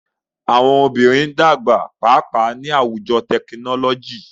Awọn obinrin n dagba paapaa ni awujo tekinọlọji.